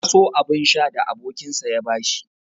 Ya so abun sha da abokinsa ya bashi.